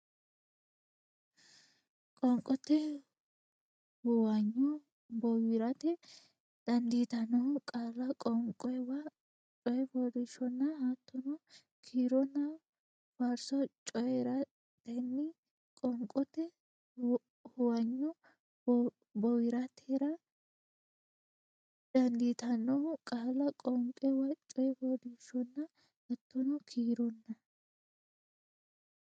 Qoonqote huwanyo bowirtara dandiitannohu qaalla qoonquwa coyifooliishshonna hattono kiironna faarso coyi raatenniiti Qoonqote huwanyo bowirtara dandiitannohu qaalla qoonquwa coyifooliishshonna hattono kiironna.